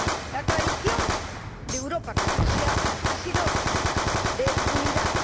La tradición de Europa con Rusia ha sido de unidad.